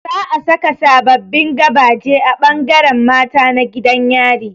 Zaa saka sababbin gabaje a ɓangaren mata na gidan yari